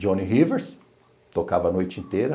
Johnny Rivers tocava a noite inteira.